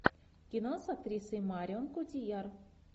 кино с актрисой марион котийяр